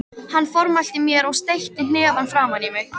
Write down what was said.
Hann formælti mér og steytti hnefann framan í mig.